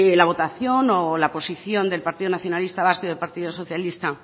la votación o la posición del partido nacionalista vasco y el partido socialista